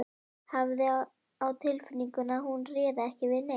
Hafði á tilfinningunni að hún réði ekki við neitt.